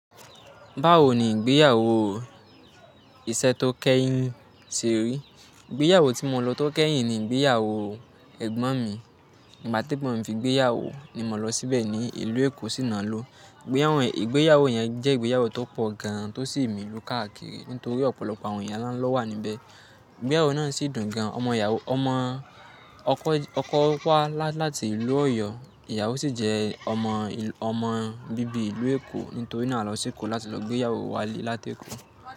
Báwo ni ìgbéyàwó iṣẹ́ tó kẹ́yìn ti rí? Ìgbéyàwó tí mo lọ tó kẹ́yìn ni ìgbéyàwó ẹ̀gbọ́n mi. Ìgbà tí ẹ̀gbọ́n mí fi ìgbéyàwó ni mo lọ síbẹ̀ ní ìlú Èkó sì na lọ. Ìgbéyàwó yẹn jẹ́ ìgbéyàwó tó pọ̀ gan an tó sì mí lu káàkiri nítorí ọ̀pọ̀lọpọ̀ àwọn ìyá ńlá lọ wà níbẹ̀. Ìgbéyàwó náà sì dùn gan an. Ọmọ ìyàwó, ọkọ wá láti ìlú Ọ̀yọ́, ìyàwó sì jẹ́ ọmọ bíbí ìlú Èkó nítorí náà lọ sí Èkó láti lọ gbéyàwó wá lé láti Èkó.